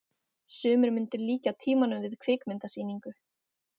sumir myndu líkja tímanum við kvikmyndasýningu